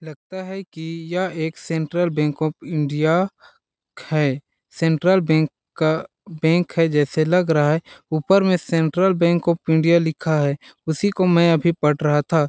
लगता है की यह एक सेंट्रल बैंक ऑफ़ इंडिया है सेंट्रल बैंक का बैंक है जैसे लग रहा है ऊपर में सेंट्रल बैंक ऑफ़ इंडिया लिखा है उसी को मैं अभी पढ़ रहा था।